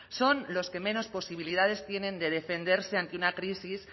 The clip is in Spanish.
son los que menos posibilidades tienen de defenderse ante una crisis